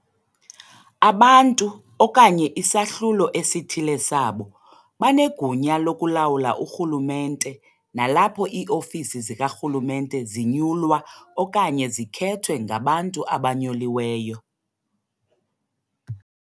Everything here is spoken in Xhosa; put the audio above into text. Abantu, okanye isahlulo esithile sabo, banegunya lokulawula urhulumente nalapho iiofisi zikarhulumente zinyulwa okanye zikhethwe ngabantu abanyuliweyo.